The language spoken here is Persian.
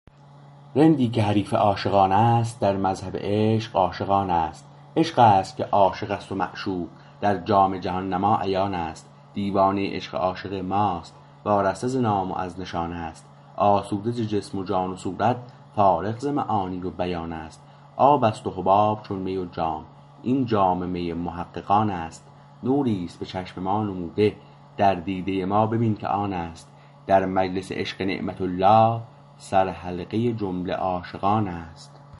رندی که حریف عاشقان است در مذهب عشق عاشق آن است عشقست که عاشقست و معشوق در جام جهان نما عیان است دیوانه عشق عاشق ماست وارسته ز نام و از نشان است آسوده ز جسم و جان و صورت فارغ ز معانی و بیان است آب است و حباب چون می و جام این جام می محققان است نوری است به چشم ما نموده در دیده ما ببین که آن است در مجلس عشق نعمة الله سر حلقه جمله عاشقان است